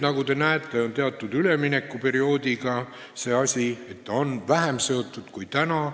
Nagu te näete, on teatud üleminekuperioodi korral nii, et see on töötasuga vähem seotud kui praegu.